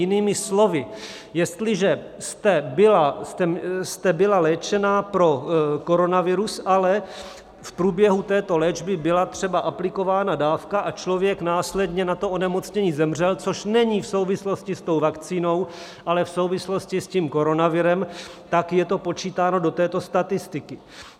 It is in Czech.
Jinými slovy, jestliže jste byla léčena pro koronavirus, ale v průběhu této léčby byla třeba aplikována dávka a člověk následně na to onemocnění zemřel - což není v souvislosti s tou vakcínou, ale v souvislosti s tím koronavirem - tak je to počítáno do této statistiky.